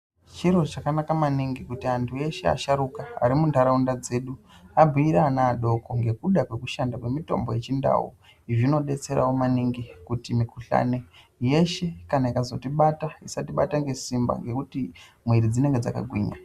Chiro chakanaka maningi kuti antu eshe asharukwa ari muntaraunda dzedu abhiire ana adoko ngekuda kwekushanda kwemitombo yechindau, izvi zvinodetserawo maningi kuti mikuhlani yeshe kana ikazotibata isatibata ngesimba ngekuti mwiri dzenge dzakagwinya.